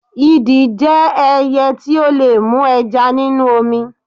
Idì jẹ́ ẹyẹ tí ó lè mú ẹja nínú omi.